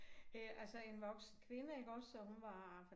Øh altså en voksen kvinde iggås og hun var